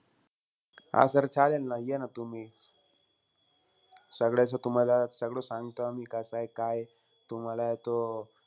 हा sir चालेल ना, या ना तुम्ही. सगळ्याच तुम्हाला सगळं सांगतो आम्ही, कसंय काय. तुम्हालाय तो,